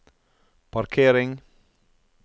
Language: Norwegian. parkering